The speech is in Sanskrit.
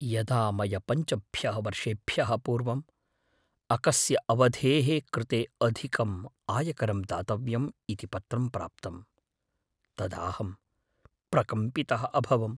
यदा मया पञ्चभ्यः वर्षेभ्यः पूर्वम् अकस्य अवधेः कृते अधिकम् आयकरं दातव्यम् इति पत्रं प्राप्तम्, तदाहं प्रकम्पितः अभवम्।